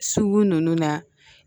Sugu ninnu na